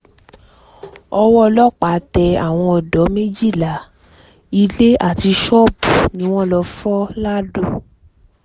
owó ọlọ́pàá tẹ àwọn odò méjìlá ilé àti ṣọ́ọ̀bù ni wọ́n lọ́ọ́ fọ́ lado